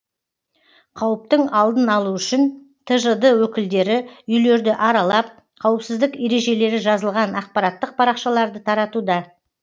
қауіптің алдын алу үшін тжд өкілдері үйлерді аралап қауіпсіздік ережелері жазылған ақпараттық парақшаларды таратуда